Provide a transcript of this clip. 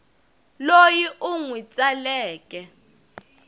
loyi u n wi tsaleke